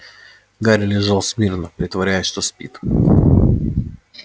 гарри лежал смирно притворяясь что спит